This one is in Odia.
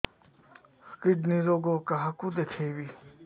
କିଡ଼ନୀ ରୋଗ କାହାକୁ ଦେଖେଇବି